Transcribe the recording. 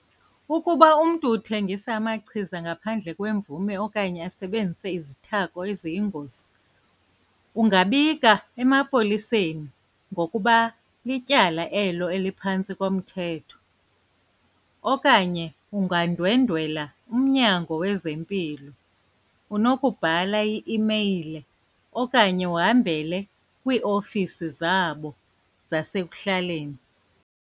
Ukuba umntu uthengisa amachiza ngaphandle kwemvume okanye asebenzise izithako eziyingozi, ungabika emapoliseni ngokuba lityala elo eliphantsi komthetho okanye ungandwendwela umnyango wezempilo. Unokubhala i-imeyile okanye uhambele kwiiofisi zabo zasekuhlaleni.